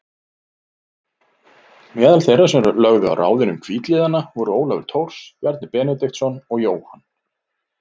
Meðal þeirra sem lögðu á ráðin um hvítliðana voru Ólafur Thors, Bjarni Benediktsson og Jóhann